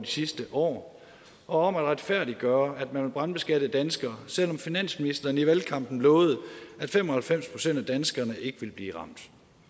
sidste år og om at retfærdiggøre at man vil brandbeskatte danskere selv om finansministeren i valgkampen lovede at fem og halvfems procent af danskerne ikke ville blive ramt